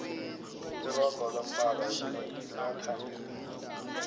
iroga lombala eminengi liyathandeka